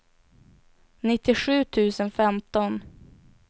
nittiosju tusen femton